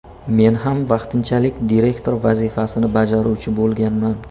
Men ham vaqtinchalik direktor vazifasini bajaruvchi bo‘lganman.